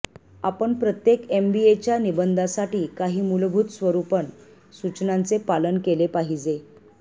आपण प्रत्येक एमबीएच्या निबंधासाठी काही मूलभूत स्वरुपण सूचनांचे पालन केले पाहिजे